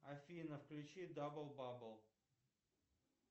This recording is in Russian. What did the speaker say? афина включи дабл бабл